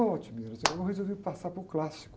Ô, eu resolvi passar para o clássico.